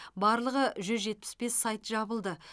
барлығы жүз жетпіс бес сайт жабылды